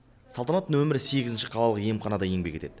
салтанат нөмір сегізінші қалалық емханада еңбек етеді